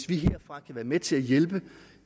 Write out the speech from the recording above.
vi herfra være med til at hjælpe